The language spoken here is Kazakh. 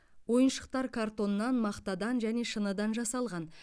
ойыншықтар картоннан мақтадан және шыныдан жасалған